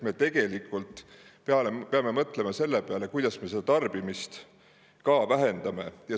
Me peame mõtlema selle peale, kuidas me tarbimist vähendame.